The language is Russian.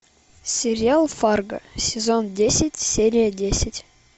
сериал фарго сезон десять серия десять